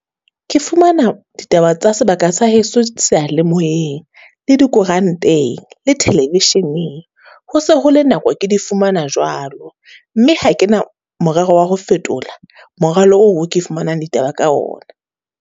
Ke fumana ditaba tsa sebaka sa heso sealemoeng, le dikoranteng, le television-eng. Ho se ho le nako ke di fumana jwalo, mme ha kena morero wa ho fetola moralo oo ke fumanang ditaba ka ona.